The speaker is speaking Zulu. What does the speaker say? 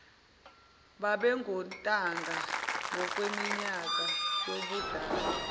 babengontanga ngokweminyaka yobudala